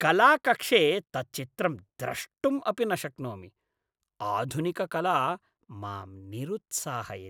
कलाकक्षे तत् चित्रं द्रष्टुम् अपि न शक्नोमि; आधुनिककला मां निरुत्साहयति।